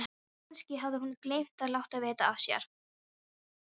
Kannski hafði hún gleymt að láta vita af sér.